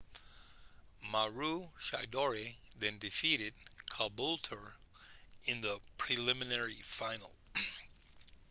maroochydore then defeated caboolture in the preliminary final